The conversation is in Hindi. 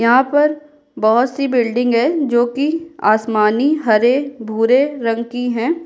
यहाँ पर बहुत-सी बिल्डिंग हैं जो कि आसमानी हरे भूरे रंग की हैं।